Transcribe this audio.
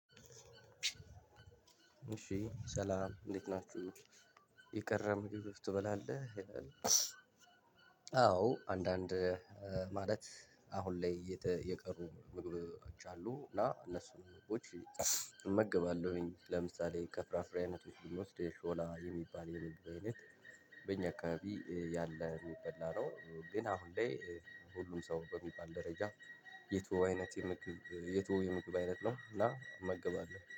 እሺ ሰላም እንዴት ናችሁ የቀረ ምግብህ ትበላለህ? አዎ አንዳንድ ማለት አሁን ላይ የቀሩ ምግቦች አሉ እና እነሱን ምግቦች እመግባለሁኝ ለምሳሌ ከፍራፍሬ አይነት ውስጥ የሾላ የሚባል የምግብ አይነት በእኛ አካባቢ ያለ የሚበላ ነው። ግን አሁን ላይ ሁሉም ሰው በሚባል ደረጃ የትወው አይነት የምግብ የተወው የምግብ አይነት ነው እና እመግባለሁ